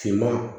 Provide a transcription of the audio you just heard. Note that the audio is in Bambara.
Finman